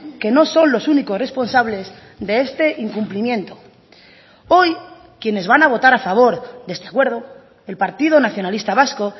que no son los únicos responsables de este incumplimiento hoy quienes van a votar a favor de este acuerdo el partido nacionalista vasco